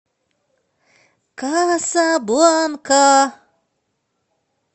касабланка